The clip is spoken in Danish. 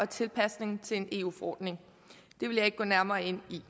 tilpasning til en eu forordning det vil jeg ikke gå nærmere ind i